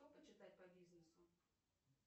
что почитать по бизнесу